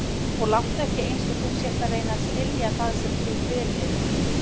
Og láttu ekki einsog þú sért að reyna að skilja það sem þú fyrirlítur.